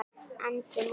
Andri: Mútur?